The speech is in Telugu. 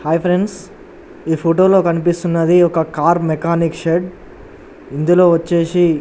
హై ఫ్రెండ్స్ ఈ ఫోటో లో కనిపిస్తున్నది ఒక కార్ మెకానిక్ షెడ్ ఇందులో వచ్చేసి --